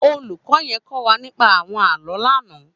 Ólúkò yèn kò wà nípà áwòn àlõ lànã